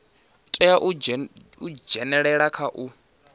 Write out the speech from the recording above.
tea u dzhenelela kha u